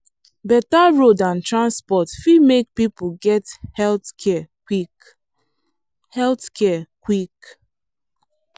better road and transport fit make people get healthcare quick. healthcare quick.